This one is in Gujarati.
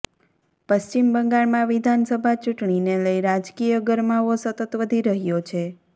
પશ્ચિમ બંગાળમાં વિધાનસભા ચૂંટણીને લઈ રાજકીય ગરમાવો સતત વધી રહ્યો છે